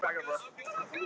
Þarf nýtt viðmið?